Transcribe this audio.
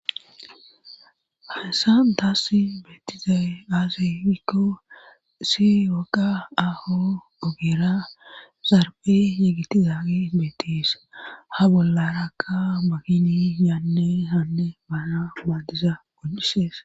hahyssan taassi beettizaye aazefikko si woqa aho ogera zarbe yegitizagi beettis ha bollarakka makini yaanne hanne baana maadiza go'isees